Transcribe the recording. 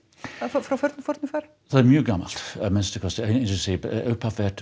frá fornu fari það er mjög gamalt að minnsta kosti eins og ég segi upphaf